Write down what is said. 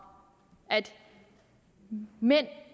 at mænd